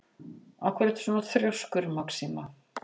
Af hverju ertu svona þrjóskur, Maxima?